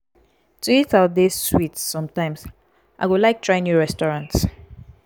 to eat out dey sweet sometimes; i go like try new restaurants.